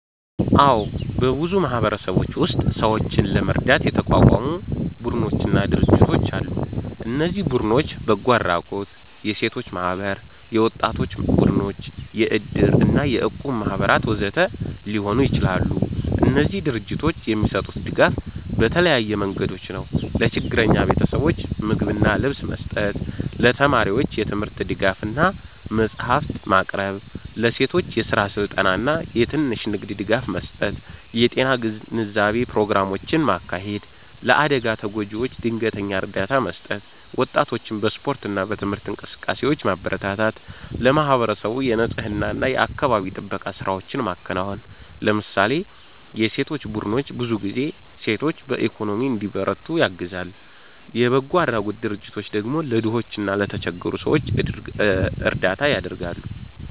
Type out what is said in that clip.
አዎ፣ በብዙ ማህበረሰቦች ውስጥ ሰዎችን ለመርዳት የተቋቋሙ ቡድኖችና ድርጅቶች አሉ። እነዚህ ቡድኖች በጎ አድራጎት፣ የሴቶች ማህበራት፣ የወጣቶች ቡድኖች፣ የእድር እና የእቁብ ማህበራት ወዘተ ሊሆኑ ይችላሉ። እነዚህ ድርጅቶች የሚሰጡት ድጋፍ በተለያዩ መንገዶች ነው፦ ለችግረኛ ቤተሰቦች ምግብና ልብስ መስጠት ለተማሪዎች የትምህርት ድጋፍ እና መጽሐፍት ማቅረብ ለሴቶች የስራ ስልጠና እና የትንሽ ንግድ ድጋፍ መስጠት የጤና ግንዛቤ ፕሮግራሞችን ማካሄድ ለአደጋ ተጎጂዎች ድንገተኛ እርዳታ መስጠት ወጣቶችን በስፖርት እና በትምህርት እንቅስቃሴዎች ማበረታታት ለማህበረሰቡ የንፅህና እና የአካባቢ ጥበቃ ስራዎችን ማከናወን ለምሳሌ የሴቶች ቡድኖች ብዙ ጊዜ ሴቶችን በኢኮኖሚ እንዲበረቱ ያግዛሉ፣ የበጎ አድራጎት ድርጅቶች ደግሞ ለድሆች እና ለተቸገሩ ሰዎች እርዳታ ያደርጋሉ።